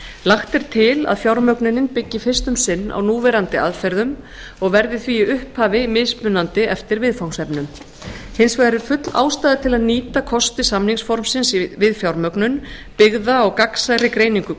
lagt er til að fjármögnunin byggi fyrst um sinn á núverandi aðferðum og verði því í upphafi mismunandi eftir viðfangsefnum hins vegar er full ástæða til að nýta kosti samningsformsins við fjármögnun byggða á gagnsærri greiningu